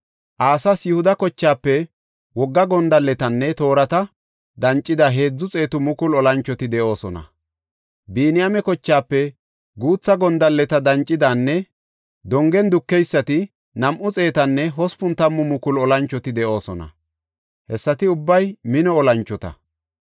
Asas Yihuda kochaafe wogga gondalletanne toorata dancida heedzu xeetu mukulu olanchoti de7oosona. Biniyaame kochaafe guutha gondalleta dancidanne dongen dukeysati nam7u xeetanne hospun tammu mukulu olanchoti de7oosona. Hessati ubbay mino olanchota.